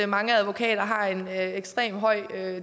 mange advokater har en ekstremt høj